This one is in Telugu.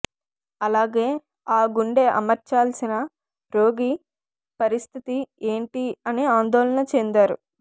అలాగే ఆ గుండె అమర్చాలిసిన రోగి పరిస్థితి ఏంటి అని ఆందోళన చెందారు